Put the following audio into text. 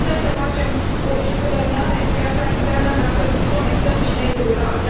Nu putem să facem o e guvernare în piața internă dacă nu conectăm și mediul rural.